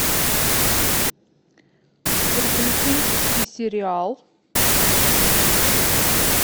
приключенческий сериал